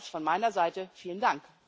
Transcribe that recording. Nochmals von meiner Seite vielen Dank.